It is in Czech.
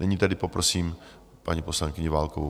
Nyní tedy poprosím paní poslankyni Válkovou.